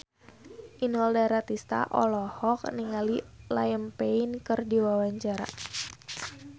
Inul Daratista olohok ningali Liam Payne keur diwawancara